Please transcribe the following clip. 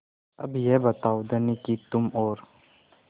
अब यह बताओ धनी कि तुम और